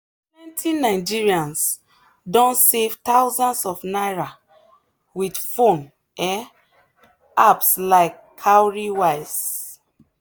plenty nigerians don save thousands of naira with phone um apps like cowrywise.